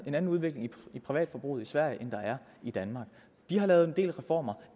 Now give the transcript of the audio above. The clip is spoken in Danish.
en anden udvikling i privatforbruget i sverige end der er i danmark de har lavet en del reformer